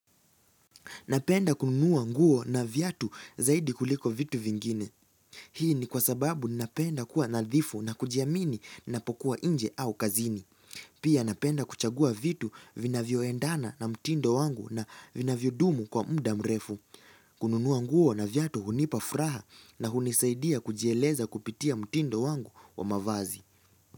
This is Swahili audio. Napenda kununua nguo na viatu zaidi kuliko vitu vingine. Hii ni kwa sababu napenda kuwa nadhifu na kujiamini ninapokua nje au kazini. Pia napenda kuchagua vitu vinavyoendana na mtindo wangu na vinavyodumu kwa muda mrefu. Kununuwa nguo na viatu hunipa furaha na hunisaidia kujieleza kupitia mtindo wangu wa mavazi.